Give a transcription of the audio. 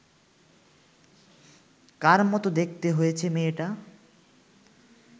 কার মতো দেখতে হয়েছে মেয়েটা